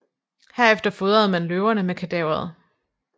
Herefter fodrede man løverne med kadaveret